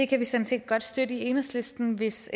kan vi sådan set godt støtte i enhedslisten hvis